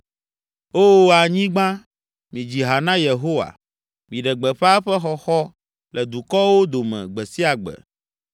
Oo, anyigba, midzi ha na Yehowa, Miɖe gbeƒã eƒe xɔxɔ le dukɔwo dome gbe sia gbe,